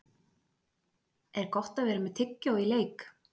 Er Gott að vera með tyggjó í leik?